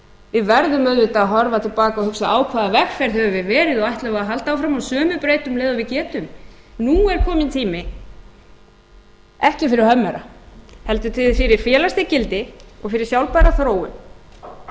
við verðum auðvitað að horfa til baka og hugsa á hvaða vegferð höfum við verið og ætlum við að halda áfram á sömu braut um leið og við getum nú er kominn tími ekki fyrir hummera heldur fyrir félagshyggindi og fyrir sjálfbæra þróun og